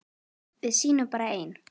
Við sýnum bara ein